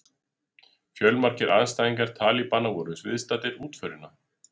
Fjölmargir andstæðingar talibana voru viðstaddir útförina